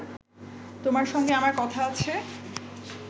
তোমার সঙ্গে আমার কথা আছে